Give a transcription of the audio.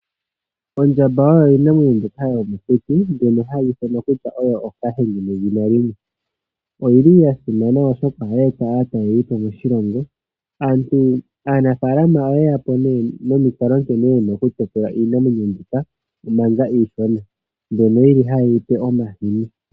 Oondjamba oyo iinamwenyo mbyoka yomokuti mbyono hayi ithanwa kutya oyo ookahenge nedhina limwe. Oyili ya simana oshoka ohayi eta aatalelipo moshilongo. Aanafaalama oyeya po nee nomikalo nkene yena okutekula iinamwenyo mbika manga iishona, mbyono yili haye yi pe omahini.